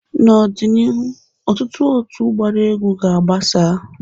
N'ọ dị n'iru, ọtụtụ otu gbara egwu ga agbasa.